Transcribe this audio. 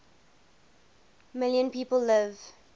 million people live